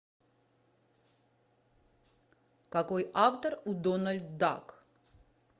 какой автор у дональд дак